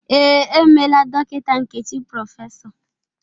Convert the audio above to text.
Ee, e meela Dọkịta Nkechi Prọfesọ.